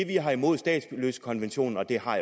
vi har imod statsløsekonventionen og det har